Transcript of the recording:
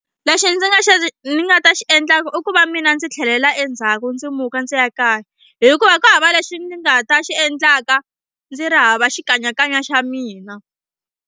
Lexi ndzi nga xi ni nga ta xi endlaka i ku va mina ndzi tlhelela endzhaku ndzi muka ndzi ya kaya hikuva ku hava lexi ni nga ta xi endlaka ndzi ri hava xikanyakanya xa mina.